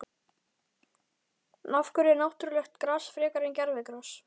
En af hverju náttúrulegt gras frekar en gervigras?